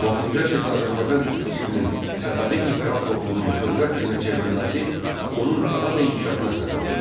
16-cı əsrdə Azərbaycan Türk dilinin Səfəvi imperatorluğunun dövlət dilinə çevrilməsi onun daha da inkişafına səbəb oldu.